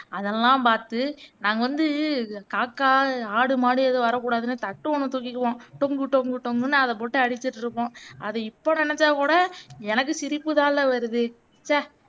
அதெல்லாம் பாத்து நாங்க வந்து காக்கா, ஆடு, மாடு எதுவும் வரக்கூடாதுன்னு தட்டு ஒன்னு தூக்கிக்குவோம் டொங்கு டொங்கு டொங்குன்னு அத போட்டு அடிச்சுட்டு இருப்போம் அதை இப்போ நெனச்சாகூட எனக்கு சிரிப்பு தான்லே வருது சே